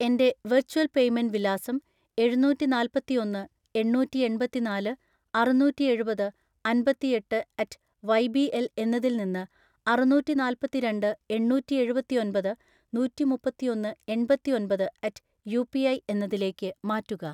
എൻ്റെ virtual payment വിലാസം എഴുനൂറ്റിനാല്പതിഒന്ന് എണ്ണൂറ്റിഎൺപതിനാല് അറുനൂറ്റിഎഴുപത് അൻപത്തിഎട്ട് അറ്റ് വൈ ബി എൽ എന്നതിൽ നിന്ന് അറുനൂറ്റിനാല്പത്തിരണ്ട്‍ എണ്ണൂറ്റിഎഴുപത്തിഒൻപത് നൂറ്റിമുപ്പത്തിഒന്ന് എൺപത്തിഒൻപത് അറ്റ് യു പി ഐ എന്നതിലേക്ക് മാറ്റുക.